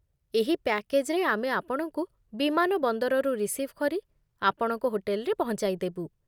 ଏହି ପ୍ୟାକେଜ୍‌ରେ, ଆମେ ଆପଣଙ୍କୁ ବିମାନବନ୍ଦରରୁ ରିସିଭ୍ କରି ଆପଣଙ୍କ ହୋଟେଲରେ ପହଞ୍ଚାଇ ଦେବୁ।